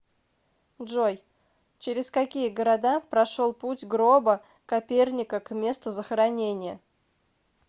джой через какие города прошел путь гроба коперника к месту захоронения